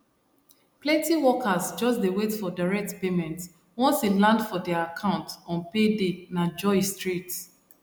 plenty workers just dey wait for direct payment once e land for their account on payday na joy straight